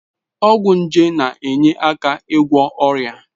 Ọgwụ nje na-enye aka n'ịgwọ ọrịa.